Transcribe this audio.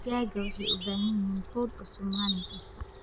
Digaagga waxay u baahan yihiin quud cusub maalin kasta.